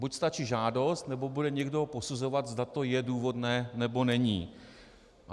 Buď stačí žádost, nebo bude někdo posuzovat, zda to je důvodné, nebo není.